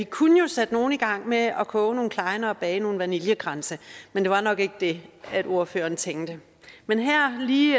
kunne sætte nogle i gang med at koge nogle klejner og bage nogle vaniljekranse men det var nok ikke det ordføreren tænkte men her lige